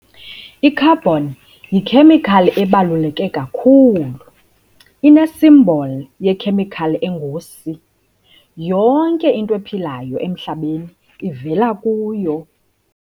I-Carbon yikhemikhali ebaluleke kakhulu, enesimboli yekhemikhali engu-C. Yonke into ephilayo emhlabeni ivela kuyo.